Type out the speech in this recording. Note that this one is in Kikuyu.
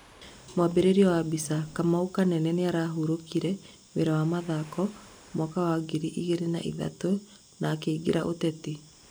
mwambĩrĩrio wa mbica, Kamau kanene nĩahũrokire wĩra wa mathako mwaka wa ngiri igĩrĩ na ithatũ na akĩingĩrĩra ũteti